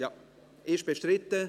– Das ist der Fall.